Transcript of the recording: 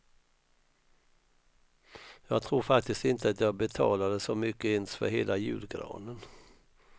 Jag tror faktiskt inte att jag betalade så mycket ens för hela julgranen.